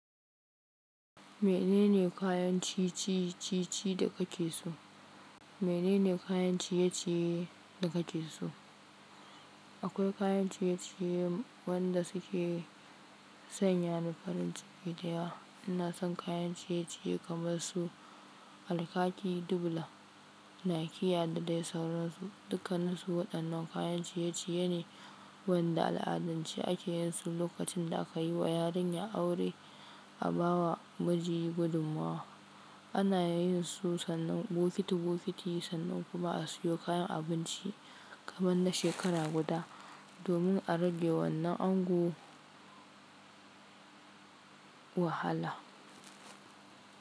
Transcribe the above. Menene kayan ciye-ciye da kake so? Menene kayan ciye-ciye da kake so? Akwai kayan ciye-ciye wanda suke sanya da farin ciki da ya. Ina son kayan ciye-ciye kamar su alkaki, dubulan, nakiya da dai sauransu. Dukaninsu waɗannan kayan ciye-ciye ne wanda al'adance ake yin su lokacin da aka yi wa yarinya aure a bawa miji gudummuwa. Ana yin su sannan bukitobuki, sannu kuma a siyo kayan abinci kaman na shekara guda domin a rage wannan ango wahala.